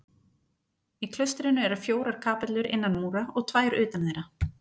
Í klaustrinu eru fjórar kapellur innan múra og tvær utan þeirra.